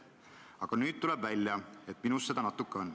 Aga nüüd tuleb välja, et minus seda natuke on.